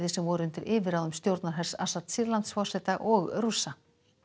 sem voru undir yfirráðum stjórnarhers Assads Sýrlandsforseta og Rússa